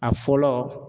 A fɔlɔ